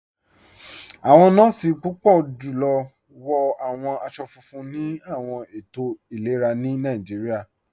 Awọn nọọ̀si púpọ̀ julọ wọ̀ awọn aṣọ̀ fúnfún ni awọn ètò ilẹ̀rà ni Nàìjíríà.